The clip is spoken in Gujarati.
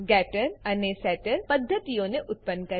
ગેટર ગેટર અને સેટર સેટર પદ્ધતિઓને ઉત્પન્ન કરવી